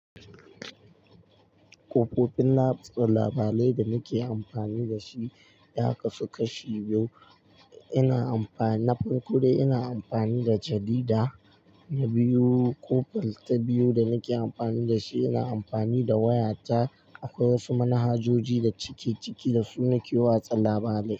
Kofofin labarai da nake amfani da shi ya kasu kashi biyu. Ina amfani na farko dai ina amfani da jarida, na biyu kofalta biyu da nake amfani da shi ina amfani da waya ta akwai wasu manhajoji da cike cike da su nake watsa labarai.